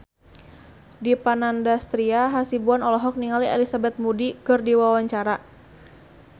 Dipa Nandastyra Hasibuan olohok ningali Elizabeth Moody keur diwawancara